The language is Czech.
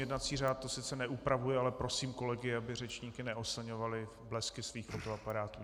Jednací řád to sice neupravuje, ale prosím kolegy, aby řečníky neoslňovali blesky svých fotoaparátů.